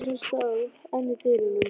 Stjána, sem stóð enn í dyrunum.